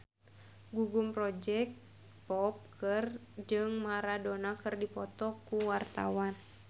Gugum Project Pop jeung Maradona keur dipoto ku wartawan